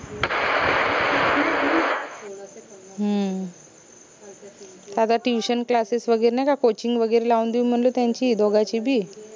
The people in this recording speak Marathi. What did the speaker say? हम्म अग tutionclasses वगैरे नाई का coaching वगैरे लावून देऊन म्हनलं त्यांची दोघांची बी